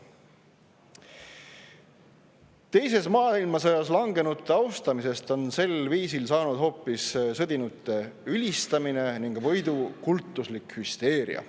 Teises maailmasõjas langenute austamisest on sel viisil saanud hoopis sõdinute ülistamine ning kultuslik võiduhüsteeria.